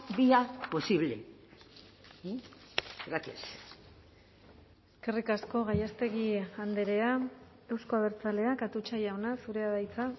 vía posible gracias eskerrik asko gallástegui andrea euzko abertzaleak atutxa jauna zurea da hitza